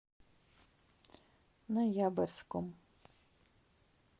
ноябрьском